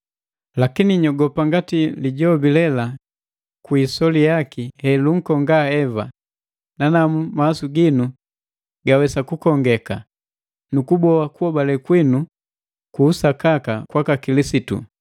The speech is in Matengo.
Lakini nyogopa ngati lijoka lela kwi isoli yaki ankonga Eva, nanamu mawasu ginu gawesa kukongeka, nukuhoa kuobale kwinu ku usakaka kwaka Kilisitu.